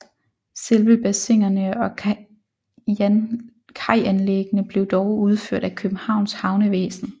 Selve bassinerne og kajanlæggene blev dog udført af Københavns Havnevæsen